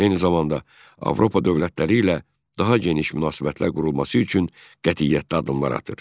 Eyni zamanda Avropa dövlətləri ilə daha geniş münasibətlər qurulması üçün qətiyyətlə addımlar atır.